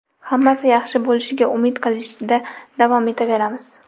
Hammasi yaxshi bo‘lishiga umid qilishda davom etaveramiz.